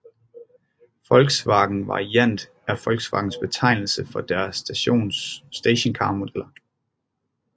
Volkswagen Variant er Volkswagens betegnelse for deres stationcarmodeller